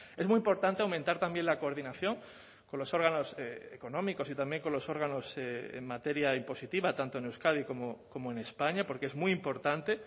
es muy importante aumentar también la coordinación con los órganos económicos y también con los órganos en materia impositiva tanto en euskadi como en españa porque es muy importante